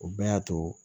O bɛɛ y'a to